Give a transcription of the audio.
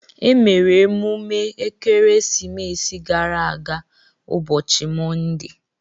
E mere emume Ekeresimesi gara aga ụbọchị Monde.